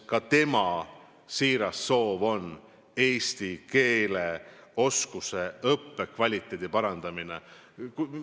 Ka tema siiras soov on eesti keele oskuse, selle õppekvaliteedi parandamine.